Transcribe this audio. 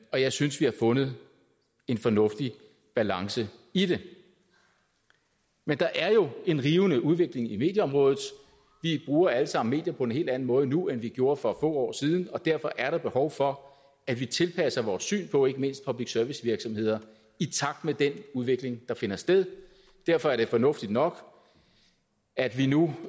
og jeg synes vi har fundet en fornuftig balance i det men der er jo en rivende udvikling på medieområdet vi bruger alle sammen medier på en helt anden måde nu end vi gjorde for få år siden og derfor er der behov for at vi tilpasser vores syn på ikke mindst public service virksomheder i takt med den udvikling der finder sted derfor er det fornuftigt nok at vi nu